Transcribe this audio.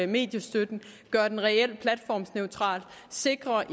mediestøtten gøre den reel platformsneutral og sikre